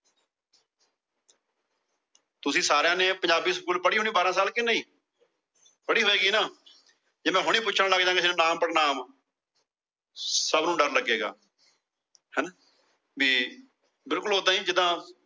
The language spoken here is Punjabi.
ਤੁਸੀਂ ਸਾਰਿਆਂ ਨੇ ਪੰਜਾਬੀ ਸਕੂਲ ਪੜੀ ਹੋਣੀ ਬਾਰਾਂ ਸਾਲ ਕੇ ਨਹੀਂ। ਪੜੀ ਹੋਏਗੀ ਨਾ। ਜੇ ਮੈ ਹੁਣੇ ਪੁੱਛਣ ਲੱਗ ਜਾਂਗਾ ਨਾਂਵ ਪੜਨਾਂਵ। ਸਭ ਨੂੰ ਡਰ ਲੱਗੇਗਾ। ਹਣਾ ਬੀ ਬਿਲਕੁਲ ਓਦਾਂ ਏ ਜੀਦਾ